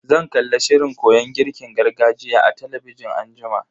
Zan kalla shirin koyon girkin gargajiya a talabijin anjima.